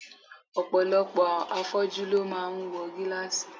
Ọ̀pọ̀lọpọ̀ afọ́jú ló máa ń wọ gílàsì